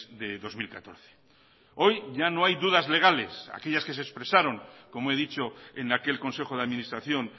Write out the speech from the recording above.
de dos mil catorce hoy ya no hay dudas legales aquellas que se expresaron como he dicho en aquel consejo de administración